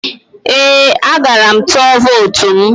Ee, agara m tụọ vootu m.